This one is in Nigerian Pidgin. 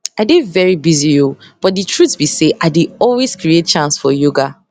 i dey very busy o but di truth be say i dey always create chance for yoga